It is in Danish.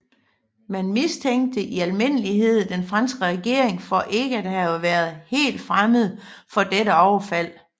Man mistænkte i almindelighed den franske regering for ikke at have været helt fremmed for dette overfald